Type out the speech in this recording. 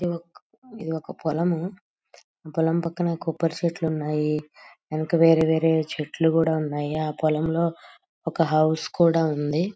ఇది ఒక్ ఇది ఒక పొలము పొలము పక్కన కొబ్బరి చెట్లున్నాయి వెనక వేరే వేరే చెట్లు కూడా ఉన్నాయి ఆ పొలం లో ఒక హౌస్ కూడా ఉంది.